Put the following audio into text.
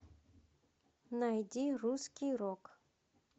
найди русский рок